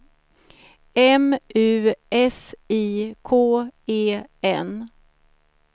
M U S I K E N